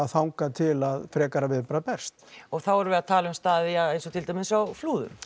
þangað til að frekara viðbragð berst og þá erum við að tala um staði eins og til dæmis á Flúðum